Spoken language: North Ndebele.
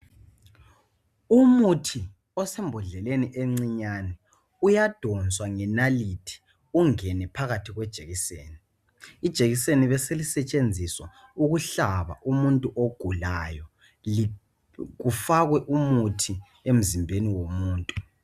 Umuthi osembodleleni encinyane uyadonswa ngenalithi ungene phakathi kwejekiseni, ijekiseni beselisetshenziswa ukuhlaba umuntu ogulayo kufakwe umuthi emzimbeni womuntu.